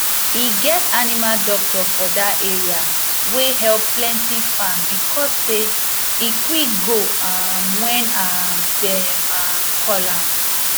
e get animal doctor for that area wey help plenty farm because say e quick go um when um dem um call am